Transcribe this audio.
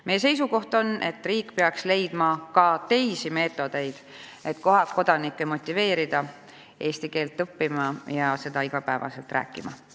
Meie seisukoht on, et riik peaks leidma ka teisi meetodeid, et motiveerida kodanikke eesti keelt õppima ja seda iga päev rääkima.